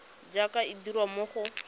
jaaka e dirwa mo go